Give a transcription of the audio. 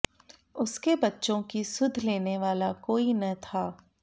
उसके बच्चों की सुध लेने वाला कोई न था